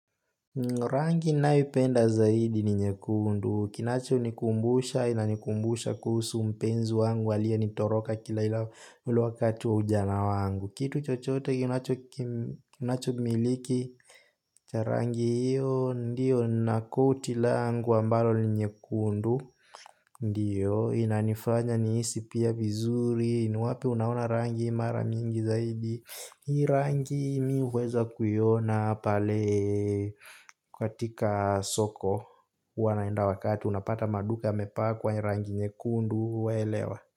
Rangi nayoipenda zaidi ni nyekundu. Kinacho nikumbusha inanikumbusha kuhusu mpenzi wangu aliyenitoroka kila ilo wakati wa ujana wangu. Kitu chochote kinacho kinachomiliki. Cha rangi hiyo ndiyo na koti langu ambalo ni nyekundu ndiyo inanifanya nihisi pia vizuri ni wapi unaona rangi hii mara mingi zaidi? Hii rangi mi huweza kuiona pale katika soko huwa naenda wakati unapata maduka yamepkwa hii rangi nyekundu we elewa.